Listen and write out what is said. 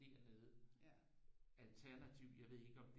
Dernede alternativt jeg ved ikke om